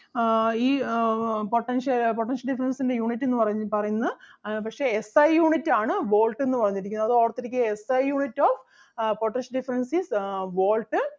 ആഹ് ഈ അഹ് ആഹ് potentia~ ആഹ് potential difference ൻ്റെ unit എന്ന് പറയു~ പറയുന്നത് അഹ് പക്ഷെ SIunit ആണ് volt എന്ന് പറഞ്ഞിരിക്കുന്നത് അത് ഓർത്ത് ഇരിക്കുക. SIunit of ah potential difference is ah Volt